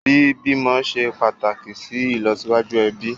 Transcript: Bí bímọ ṣe pàtàkì sì ìlọsíwájú ẹbí